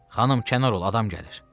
Xanım kənar ol, adam gəlir.